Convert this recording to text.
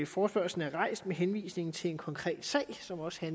forespørgslen er rejst med henvisning til en konkret sag som også